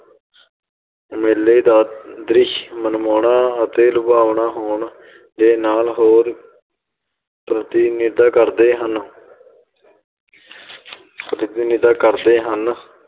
ਮੁੇਲੇ ਦਾ ਦ੍ਰਿਸ਼ ਮਨਮੋਹਣਾ ਅਤੇ ਲੁਭਾਵਣਾ ਹੋਣ ਦੇ ਨਾਲ ਹੋਰ ਪ੍ਰਤੀਨਿਧਾ ਕਰਦੇ ਹਨ ਪ੍ਰਤੀਨਿੱਧਾ ਕਰਦੇ ਹਨ।